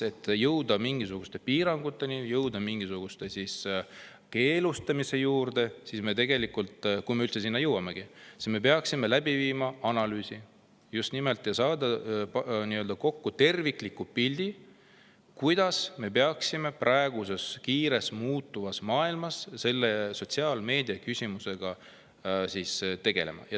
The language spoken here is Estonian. Et jõuda mingisuguste piiranguteni ning jõuda mingisuguse keelustamiseni, kui me üldse selleni jõuamegi, me peaksime enne läbi viima analüüsi ja saama kokku tervikliku pildi, kuidas me peaksime praeguses kiiresti muutuvas maailmas sotsiaalmeediaküsimusega tegelema.